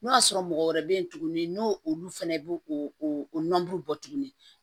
N'o y'a sɔrɔ mɔgɔ wɛrɛ bɛ ye tuguni n'o olu fɛnɛ b'o o bɔ tuguni